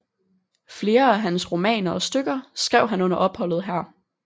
Flere af hans romaner og stykker skrev han under opholdet her